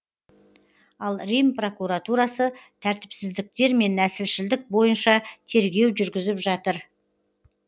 ал рим прокуратурасы тәртіпсіздіктер мен нәсілшілдік бойынша тергеу жүргізіп жатыр